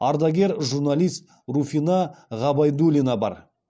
ардагер журналист руфина ғабайдулина бар